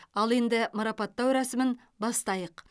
ал енді марапаттау рәсімін бастайық